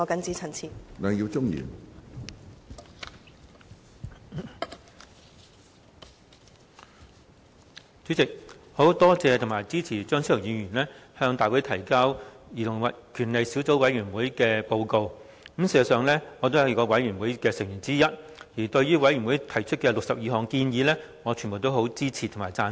主席，我感謝及支持張超雄議員向大會提交兒童權利小組委員會的報告，事實上，我也是該小組委員會的成員之一，對於小組委員會提出的62項建議，我全部也支持及贊成。